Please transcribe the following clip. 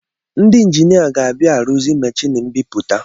Ndị enjina ga-abịa arụzi machini mbịpụta